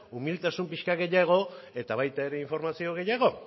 umiltasun pixka bat gehiago eta baita ere informazio gehiago